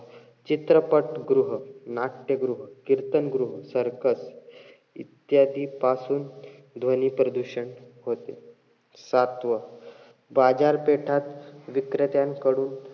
चित्रपट गृह, नाट्यगृह, कीर्तनगृह, circus इत्यादी पासून ध्वनी प्रदशन होते. सातवं, बाजारपेठात विक्रेत्यांकडून,